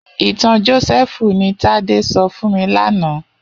Itàn Josèfú ni Tade sò fún mi làná